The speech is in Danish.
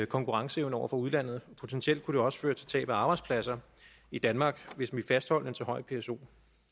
konkurrenceevne over for udlandet potentielt kunne det også føre til tab af arbejdspladser i danmark hvis vi fastholdt så høj en pso